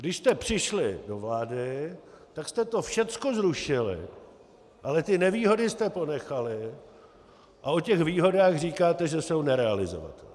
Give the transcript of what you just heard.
Když jste přišli do vlády, tak jste to všechno zrušili, ale ty nevýhody jste ponechali a o těch výhodách říkáte, že jsou nerealizovatelné.